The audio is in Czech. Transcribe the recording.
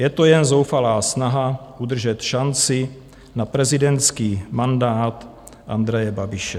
Je to jen zoufalá snaha udržet šanci na prezidentský mandát Andreje Babiše.